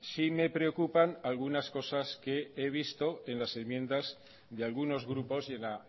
sí me preocupan algunas cosas que he visto en las enmiendas de algunos grupos y en la